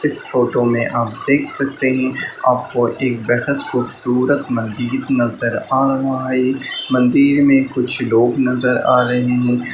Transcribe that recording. इस फोटो में आप देख सकते हैं आपको एक बेहद खूबसूरत मंदिर नजर आ रहा हैं मंदिर में कुछ लोग नजर आ रहे हैं।